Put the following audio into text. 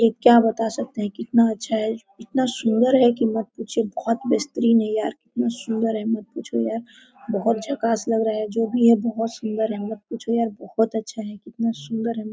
ये क्या बता सकते है इतना अच्छा है इतना सुन्दर है की मत पूछिए बहुत बहेतरीन है कितना सुंदर है मत पूछो यार बहोत झकास लग रहा है जो भी है बहुत सुन्दर है मत पूछो बहुत अच्छा कितना सुन्दर है।